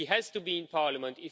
He has to be in Parliament.